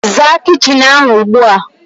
Zaa kitchin ahu ugbua